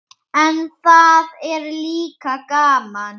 En það er líka gaman.